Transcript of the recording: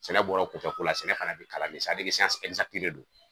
Sɛnɛ bɔra kunfɛ ko la , sɛnɛ fana bi kalan de de don